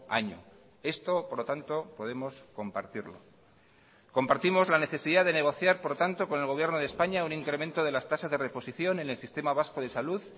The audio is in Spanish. año esto por lo tanto podemos compartirlo compartimos la necesidad de negociar por tanto con el gobierno de españa un incremento de las tasas de reposición en el sistema vasco de salud